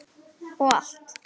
Og allt.